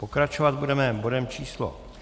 Pokračovat budeme bodem číslo